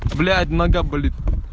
блядь нога болит